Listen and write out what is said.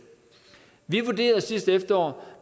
vi vurderede sidste efterår